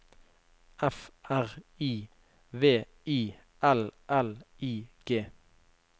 F R I V I L L I G